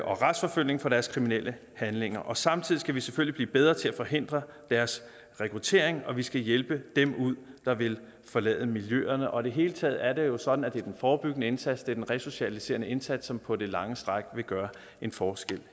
og retsforfølges for deres kriminelle handlinger og samtidig skal vi selvfølgelig blive bedre til at forhindre deres rekruttering og vi skal hjælpe dem ud der vil forlade miljøerne i det hele taget er det jo sådan at det er den forebyggende indsats det er den resocialiserende indsats som på det lange stræk vil gøre en forskel